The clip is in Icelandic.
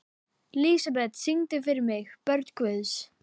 Lísebet, syngdu fyrir mig „Börn Guðs“.